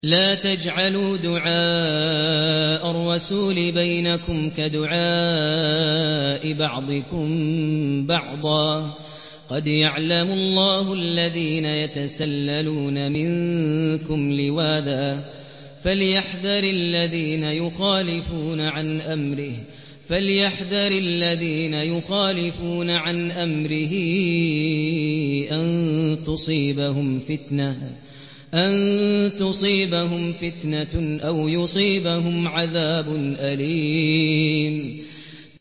لَّا تَجْعَلُوا دُعَاءَ الرَّسُولِ بَيْنَكُمْ كَدُعَاءِ بَعْضِكُم بَعْضًا ۚ قَدْ يَعْلَمُ اللَّهُ الَّذِينَ يَتَسَلَّلُونَ مِنكُمْ لِوَاذًا ۚ فَلْيَحْذَرِ الَّذِينَ يُخَالِفُونَ عَنْ أَمْرِهِ أَن تُصِيبَهُمْ فِتْنَةٌ أَوْ يُصِيبَهُمْ عَذَابٌ أَلِيمٌ